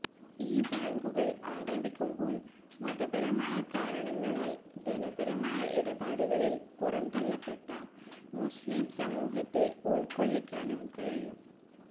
ഈ ബാങ്കുകള് ആരംഭിക്കുമ്പോള് മതപരമായ കാരണങ്ങളാല് ധനപരമായ ഇടപാടുകളില് പുറംതള്ളപ്പെട്ട മുസ്്ലിം സമൂഹത്തെ ഉള്ക്കൊള്ളിക്കാനും കഴിയും